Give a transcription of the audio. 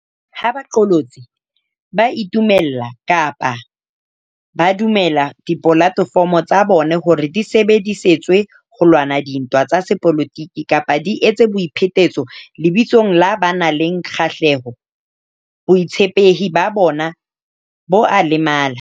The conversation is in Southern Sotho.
Ha baqolotsi ba itumella kapa ba dumella dipolate fomo tsa bona hore di sebedi setswe ho lwana dintwa tsa sepolotiki kapa di etse boi phetetso lebitsong la ba nang le kgahleho, botshepehi ba bona bo a lemala.